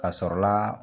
Ka sɔrɔ la